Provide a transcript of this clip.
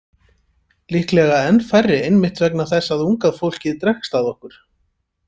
Líklega enn færri einmitt vegna þess að unga fólkið dregst að okkur.